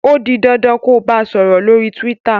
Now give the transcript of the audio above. o dì dandan kò bá sòrò lórí twitter!